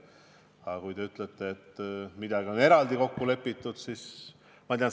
Aga kui te ütlete, et midagi on eraldi kokku lepitud, siis on tore.